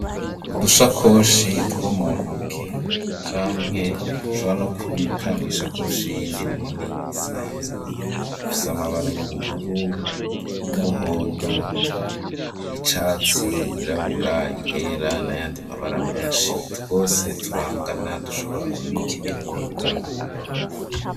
Udushakoshi two mu ntoke, canke ushobora no kubika mw'ishakoshi yindi nini isanzwe, dufise amabara y'ubururu, y'umuhondo, y'icatsi, yirabura, iyera n'ayandi mabara menshi; twose turangana, dushobora kubika ibintu bingana.